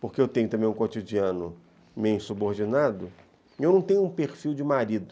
porque eu tenho também um cotidiano meio insubordinado, eu não tenho um perfil de marido.